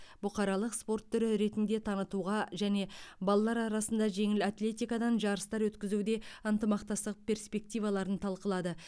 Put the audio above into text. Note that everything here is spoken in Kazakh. бұқаралық спорт түрі ретінде танытуға және балалар арасында жеңіл атлетикадан жарыстар өткізуде ынтымақтастық перспективаларын талқылады